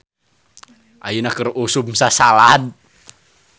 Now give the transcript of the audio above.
"Ayeuna keur usum sasalad "